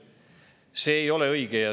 See ei ole õige.